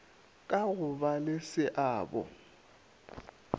ka go ba le seabo